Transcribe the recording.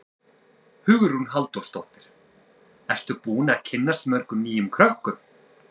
Hugrún Halldórsdóttir: Ertu búinn að kynnast mörgum nýjum krökkum?